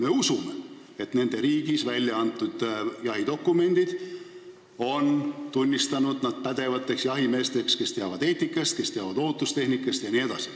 Me usume, et nende riigis välja antud jahidokumendid on nad tunnistanud pädevateks jahimeesteks, kes teavad eetikast, ohutustehnikast jne.